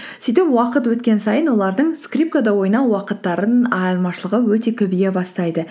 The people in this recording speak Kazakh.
сөйтіп уақыт өткен сайын олардың скрипкада ойнау уақыттарының айырмашылығы өте көбейе бастайды